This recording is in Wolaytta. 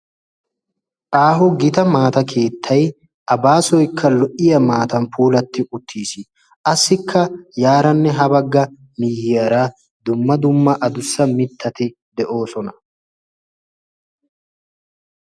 Aaho gita maata keettai a baasoykka lo"iya maatan puulatti uttiis assikka yaaranne ha bagga miiyiyaara dumma dumma adussa mittati de'oosona.